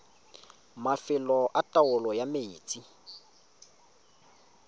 mafelo a taolo ya metsi